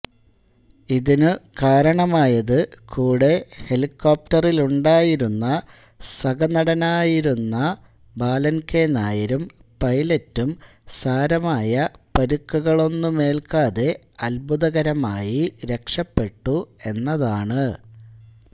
ഇതിനു കാരണമായത് കൂടെ ഹെലിക്കോപ്റ്ററിലുണ്ടായിരുന്ന സഹനടനായിരുന്ന ബാലൻ കെ നായരും പൈലറ്റും സാരമായ പരുക്കുകളൊന്നുമേൽക്കാതെ അത്ഭുതകരമായി രക്ഷപെട്ടു എന്നതാണ്